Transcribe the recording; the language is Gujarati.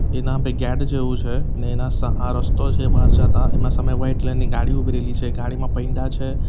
એના હાંભે ગેટ જેવું છે ને એના સા રસ્તો છે બાર જાતા એના સામે વાઈટ કલર ની ગાડી ઉભી રેલી છે ગાડીમાં પૈંડા છે.